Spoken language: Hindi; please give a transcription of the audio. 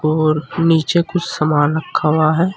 और नीचे कुछ समान रखा हुआ है।